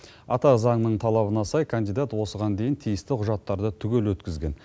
ата заңның талабына сай кандидат осыған дейн тиісті құжаттарды түгел өткізген